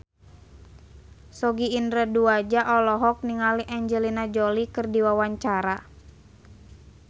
Sogi Indra Duaja olohok ningali Angelina Jolie keur diwawancara